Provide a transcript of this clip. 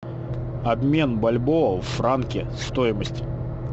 обмен бальбоа в франки стоимость